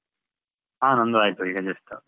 ಹಾ ನಂದು ಆಯ್ತು, ಈಗ just .